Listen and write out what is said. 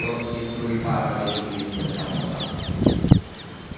тонкие струи пара вылетели из-под капота